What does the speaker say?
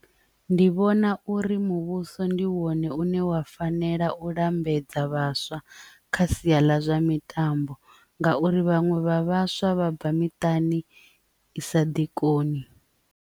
Ndi vhona uri muvhuso ndi wone une wa fanela u lambedza vhaswa kha sia ḽa zwa mitambo ngauri vhaṅwe vha vhaswa vha bva miṱani i sa ḓi tshikoloni.